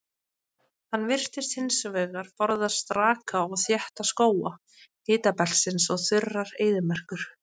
Hann virðist hins vegar forðast raka og þétta skóga hitabeltisins og þurrar eyðimerkur.